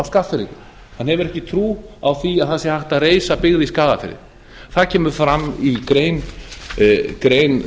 skagfirðingum hann hefur ekki trú á því að það sé hægt að reisa byggð í skagafirði það kemur fram í grein